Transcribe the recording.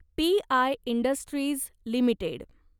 P I industries limited